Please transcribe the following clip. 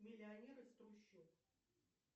миллионер из трущоб